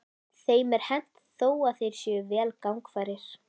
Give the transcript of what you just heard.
Þeim er hent þó að þeir séu vel gangfærir.